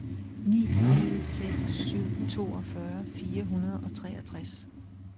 ni en seks syv toogfyrre fire hundrede og treogtres